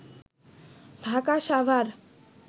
Dhaka Savar